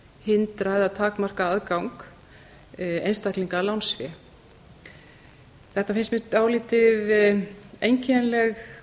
hindra eða takmarka aðgang einstaklinga að lánsfé þetta finnst mér dálítið einkennileg